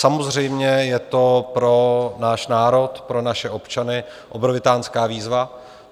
Samozřejmě je to pro náš národ, pro naše občany, obrovitánská výzva.